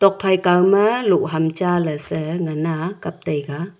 phai kauma loh ham cha lesa ngana kaptaiga.